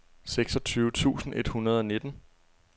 seksogtyve tusind et hundrede og nitten